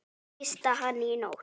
Tísti hann í nótt?